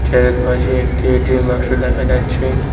চেয়ারের পাশে একটি এ_টি_এম বাক্স দেখা যাচ্ছে।